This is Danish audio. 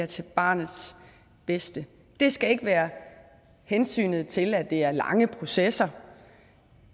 til barnets bedste det skal ikke være hensynet til at det er lange processer